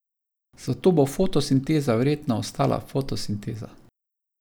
Zato bo fotosinteza verjetno ostala fotosinteza.